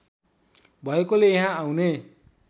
भएकोले यहाँ आउने